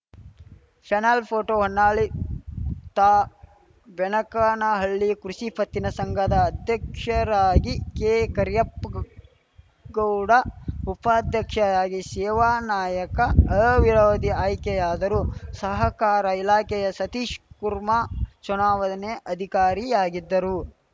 channel photo Honnali ತಾ ಬೆನಕನಹಳ್ಳಿ ಕೃಷಿ ಪತ್ತಿನ ಸಂಘದ ಅಧ್ಯಕ್ಷರಾಗಿ ಕೆ ಕರ್ಯಪ್ಪ ಗೌಡ ಉಪಾಧ್ಯಕ್ಷರಾಗಿ ಶೇವಾನಾಯಕ ಅವಿರೋಧ ಆಯ್ಕೆಯಾದರು ಸಹಕಾರ ಇಲಾಖೆಯ ಸತೀಶ್‌ಕುರ್ಮಾ ಚುನಾವಣೆ ಅಧಿಕಾರಿಯಾಗಿದ್ದರು